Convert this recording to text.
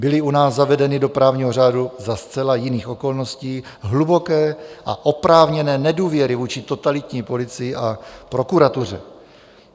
Byly u nás zavedeny do právního řádu za zcela jiných okolností - hluboké a oprávněné nedůvěry vůči totalitní policii a prokuratuře.